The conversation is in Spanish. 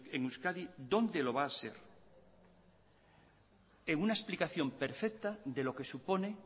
en euskadi dónde lo va a ser en una explicación perfecta de lo que supone